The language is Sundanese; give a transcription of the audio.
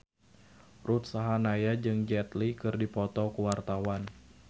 Ruth Sahanaya jeung Jet Li keur dipoto ku wartawan